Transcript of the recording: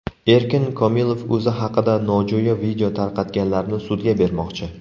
Erkin Komilov o‘zi haqida nojo‘ya video tarqatganlarni sudga bermoqchi.